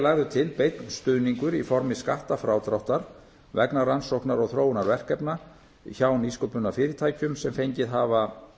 lagður til beinn stuðningur í formi skattfrádráttar vegna rannsóknar og þróunarverkefna hjá nýsköpunarfyrirtækjum sem fengið hafa